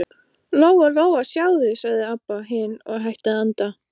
Lóa Lóa, sjáðu, sagði Abba hin og hætti að anda.